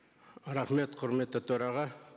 рахмет құрметті төраға